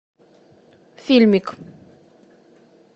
фильмик